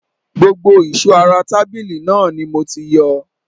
Gbogbo ìṣó ara tàbílu náà ni mo ti yọ